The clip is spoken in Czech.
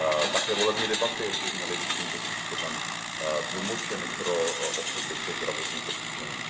Také volební debaty by měly být tímto způsobem tlumočeny pro osoby se zdravotním postižením.